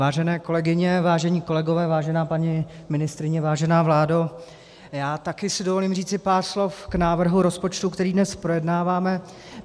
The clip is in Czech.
Vážené kolegyně, vážení kolegové, vážená paní ministryně, vážená vládo, já si taky dovolím říci pár slov k návrhu rozpočtu, který dnes projednáváme.